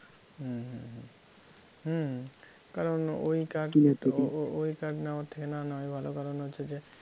হম হম হম কারণ ওই কাঠ ও ও~ ওই কাঠ নেওয়ার থেকে না নেওয়াই ভালো কারণ হচ্ছে যে